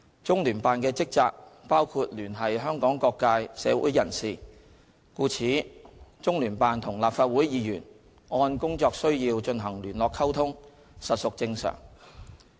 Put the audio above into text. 中聯辦的職能包括聯繫香港社會各界人士，故此，中聯辦與立法會議員按工作需要進行聯絡溝通，實屬正常。